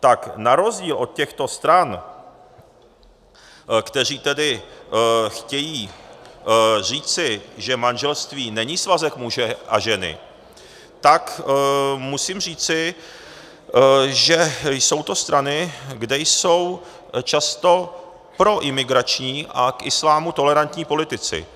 tak na rozdíl od těchto stran, které tedy chtějí říci, že manželství není svazek muže a ženy, tak musím říci, že jsou to strany, kde jsou často proimigrační a k islámu tolerantní politici.